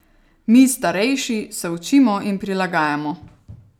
Mi, starejši, se učimo in prilagajamo.